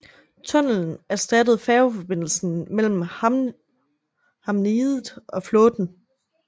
Tunnelen erstattede færgeforbindelsen mellem Hamneidet og Flåten